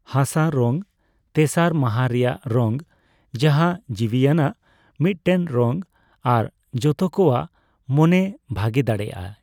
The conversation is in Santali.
ᱦᱟᱥᱟ ᱨᱚᱝ ᱛᱮᱥᱟᱨ ᱢᱟᱦᱟ ᱨᱮᱭᱟᱜ ᱨᱚᱝ, ᱡᱟᱦᱟᱸ ᱡᱤᱣᱤᱭᱟᱱᱟᱜ ᱢᱤᱫᱴᱮᱱ ᱨᱚᱝ ᱟᱨ ᱡᱚᱛᱚ ᱠᱚᱣᱟᱜ ᱢᱚᱱᱮᱭ ᱵᱷᱟᱜᱮ ᱫᱟᱲᱮᱭᱟᱜᱼᱟ ᱾